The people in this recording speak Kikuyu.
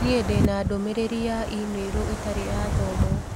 Nĩ ndĩ na ndũmĩrĩri ya i-mīrū ĩtarĩ yaathomwo